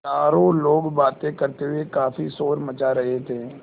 चारों लोग बातें करते हुए काफ़ी शोर मचा रहे थे